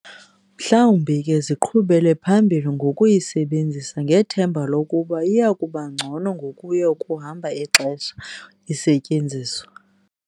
Mhlawumbi ke ziqhubele phambili ngokuyisebenzisa ngethemba lokuba iyakubangcono ngokuya kuhamba ixesha isetyenziswa.